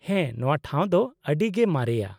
-ᱦᱮᱸ, ᱱᱚᱶᱟ ᱴᱷᱟᱣ ᱫᱚ ᱟᱹᱰᱤ ᱜᱮ ᱢᱟᱨᱮᱭᱟ ᱾